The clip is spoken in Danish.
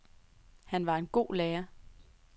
Han var en god lærer.